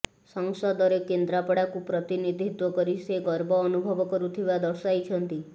ସଂସଦରେ କେନ୍ଦ୍ରାପଡ଼ାକୁ ପ୍ରତିନିଧିତ୍ୱ କରି ସେ ଗର୍ବ ଅନୁଭବ କରୁଥିବା ଦର୍ଶାଇଛନ୍ତି